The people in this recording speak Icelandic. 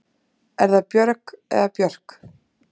Er það Björg eða Björk?